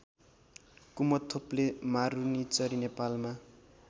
कुमथोप्ले मारुनीचरी नेपालमा